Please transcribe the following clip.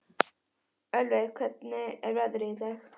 Ölveig, hvernig er veðrið í dag?